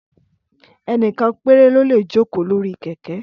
Ẹ́nìkan péré lólè joko lori kẹ̀kẹ́